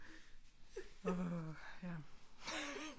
Åh ja